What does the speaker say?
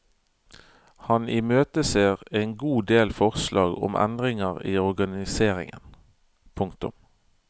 Han imøteser en god del forslag om endringer i organiseringen. punktum